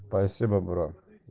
спасибо брат